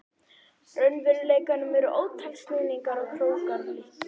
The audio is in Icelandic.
raunveruleikanum eru ótal snúningar og krókar og lykkjur.